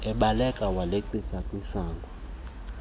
ebaleka waleqisa kwisango